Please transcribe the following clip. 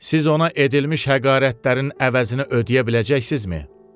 siz ona edilmiş həqarətlərin əvəzini ödəyə biləcəksizmi?